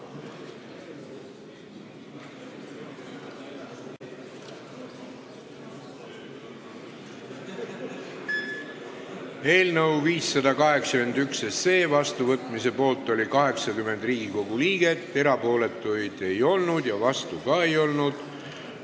Hääletustulemused Eelnõu 581 vastuvõtmise poolt oli 80 Riigikogu liiget, erapooletuid ei olnud ja vastuolijaid ka ei olnud.